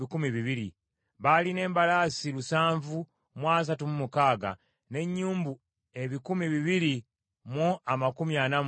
Baalina embalaasi lusanvu mu asatu mu mukaaga (736), n’ennyumbu ebikumi bibiri mu amakumi ana mu ttaano (245),